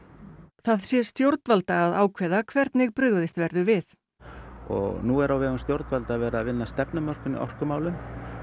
það sé stjórnvalda að ákveða hvernig brugðist verður við nú er á vegum stjórnvalda verið að vinna að stefnumörkun í orkumálum